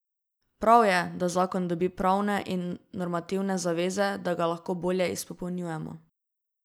Prav je, da zakon dobi pravne in normativne zaveze, da ga lahko bolje izpolnjujemo.